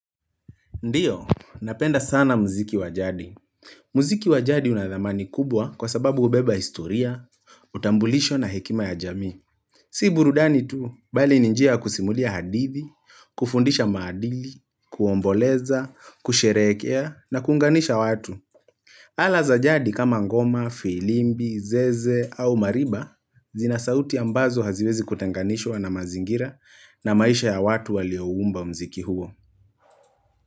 Ndiyo, napenda sana mziki wa jadi. Mziki wa jadi una dhamani kubwa kwa sababu hubeba historia, utambulisho na hekima ya jamii. Si burudani tu, bali ni njia ya kusimulia hadithi, kufundisha maadili, kuomboleza, kusherehekea na kuunganisha watu. Ala za jadi kama ngoma, filimbi, zeze au mariba, zina sauti ambazo haziwezi kutenganishwa na mazingira na maisha ya watu waliouumba mziki huo.